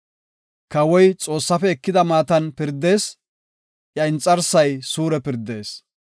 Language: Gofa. Kawoy Xoossaafe ekida maatan pirdees; iya inxarsay suure pirdees.